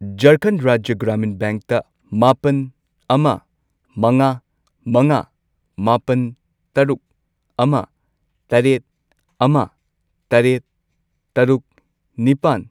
ꯓꯔꯈꯟꯗ ꯔꯥꯖ꯭ꯌ ꯒ꯭ꯔꯥꯃꯤꯟ ꯕꯦꯡꯛꯇ ꯃꯥꯄꯜ, ꯑꯃ, ꯃꯉꯥ, ꯃꯉꯥ, ꯃꯥꯄꯜ, ꯇꯔꯨꯛ, ꯑꯃ, ꯇꯔꯦꯠ, ꯑꯃ, ꯇꯔꯦꯠ, ꯇꯔꯨꯛ, ꯅꯤꯄꯥꯟ ,